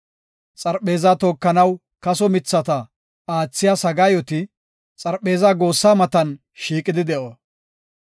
Xarpheezaa tookanaw kaso mithata aathiya sagaayoti xarpheeza goossaa matan shiiqidi de7o.